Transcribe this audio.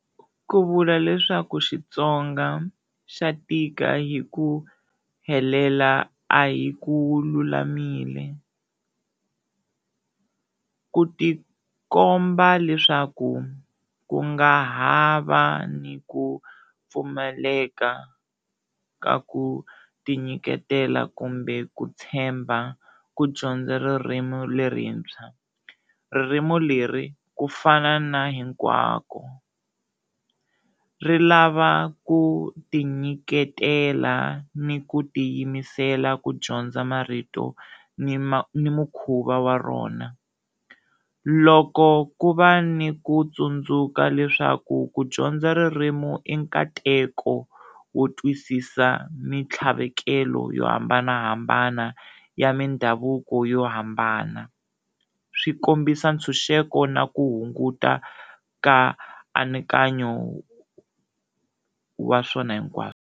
Ku vula leswaku Xitsonga xa tika hi ku helela a hi ku lulamile, ku tikomba leswaku ku nga hava ni ku pfumaleka ka ku tinyiketela kumbe ku tshemba ku dyondza ririmi lerintshwa, ririmi leri ku fana na hinkwako ri lava ku tinyiketela ni ku tiyimisela ku dyondza marito ni ma ni mikhuva wa rona, loko ku va ni ku tsundzuka leswaku ku dyondza ririmi i nkateko wo twisisa mitlhavekelo yo hambanahambana ya mindhavuko yo hambana swi kombisa ntshunxeko na ku hunguta ka anakanyo wa swona hinkwaswo.